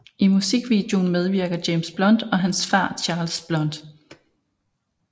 I musikvideoen medvirker James Blunt og hans far Charles Blount